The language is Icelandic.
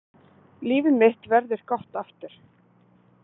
Líf mitt verður gott aftur.